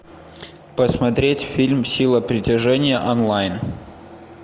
посмотреть фильм сила притяжения онлайн